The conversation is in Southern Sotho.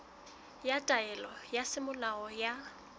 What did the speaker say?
ya taelo ya semolao ya